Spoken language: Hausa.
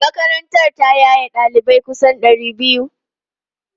Makarantar ta yaye ɗalibai kusan ɗari biyu.